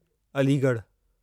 अलीगढ़ु